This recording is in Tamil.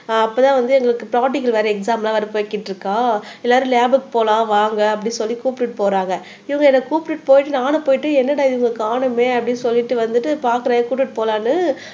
அப்பதான் வந்து எங்களுக்கு பிராக்டிகல் வேற எக்ஸாம் எல்லாம் வேற போய்கிட்டு இருக்கா எல்லாரும் லேப்க்கு போலாம் வாங்க அப்படின்னு சொல்லி கூப்பிட்டுட்டு போறாங்க இவங்க என்னை கூட்டிட்டு போயிட்டு நானும் போயிட்டு என்னடா இவங்கள காணோமே அப்படின்னு சொல்லிட்டு வந்துட்டு பாக்குறேன் கூட்டிட்டு போலான்னு